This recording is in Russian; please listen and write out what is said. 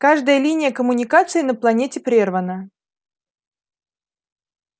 каждая линия коммуникации на планете прервана